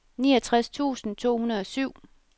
niogtres tusind to hundrede og syv